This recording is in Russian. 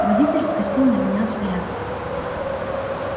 водитель скосил на меня взгляд